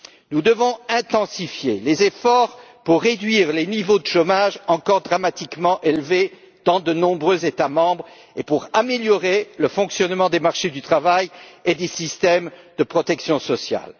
Nous devons intensifier les efforts pour réduire les niveaux de chômage encore considérablement élevés dans de nombreux États membres et améliorer le fonctionnement des marchés du travail et des systèmes de protection sociale.